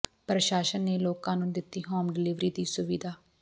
ਪ੍ਰਸਾਸ਼ਨ ਨੇ ਲੋਕਾਂ ਨੂੰ ਦਿੱਤੀ ਹੋਮ ਡਲੀਵਰੀ ਦੀ ਸੁਵਿਧਾ